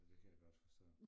Ja det kan jeg godt forstå